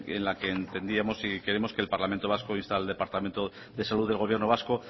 en la que entendíamos y queremos que el parlamento vasco inste al departamento de salud del gobierno vasco